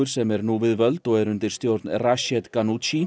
sem er nú við völd og er undir stjórn Rached